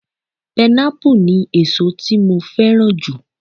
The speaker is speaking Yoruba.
Pineapple ni èsó tí mo fẹ́ràn jù.